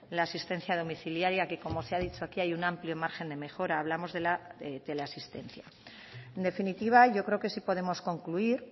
la asistencia domiciliaria que como se ha dicho aquí hay un amplio margen de mejora hablamos de la teleasistencia en definitiva yo creo que sí podemos concluir